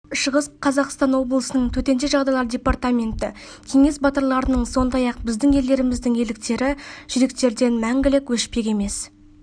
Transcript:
шығыс қазақстан облысының төтенше жағдайлар департаменті кеңес батырларының сондай-ақ біздің ерлеріміздің ерліктері жүректерден мәңгілік өшпек емес